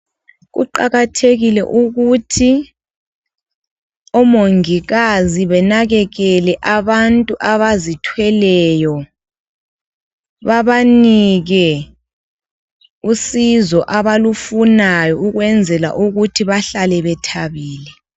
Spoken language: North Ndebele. Kuqakathekile ukuthi omongikazi benakekele abantu abazithweleyo. Babanike usizo abalufunayo ukwenzela ukuthi bahlale bethabile.